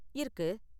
இருக்கு.